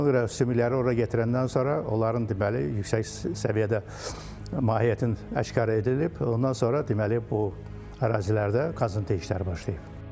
Ona görə sümükləri ora gətirəndən sonra onların deməli yüksək səviyyədə mahiyyətin aşkara edilib, ondan sonra deməli bu ərazilərdə qazıntı işləri başlayıb.